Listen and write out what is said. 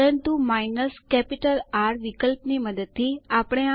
ચાલો હવે ટર્મિનલ ઉપર જઈએ